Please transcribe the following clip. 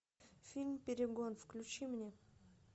фильм перегон включи мне